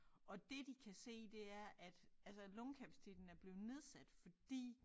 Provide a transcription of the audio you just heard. Og det de kan se det er at altså lungekapaciteten er blevet nedsat fordi